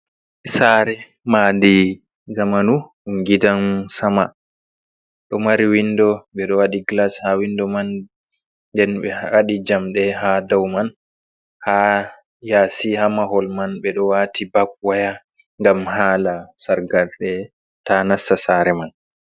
Sare maadi zamanu dum gidan sama do mari windo be do wadi glas ha windo man nden be wadi jamde ha dau man, ha yasi ha mahol man be do wati bab waya gam hala sargarde ta nasta sare man.